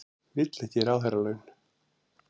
Vill ekki ráðherralaun